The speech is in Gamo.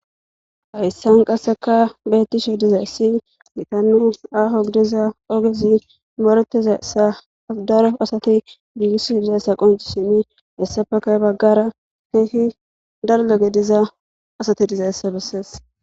hayssan qasseka beettishe dizay si gitanu aaho gidiza ogezi morotezayssadaro asati giiissi dizayssa qonci simi hessafekay baggara heehi daldogediza asati dizayssa bessees